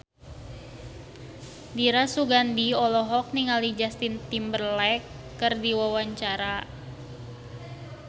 Dira Sugandi olohok ningali Justin Timberlake keur diwawancara